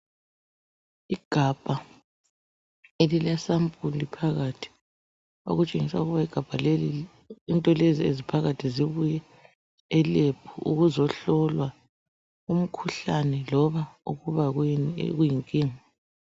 Igabha elile sample phakathi okutshengisa ukuba igabha leli into lezi eziphakathi zibuya elab ukuzohlolwa umkhuhlane loba ukuba yini okuyinkinga.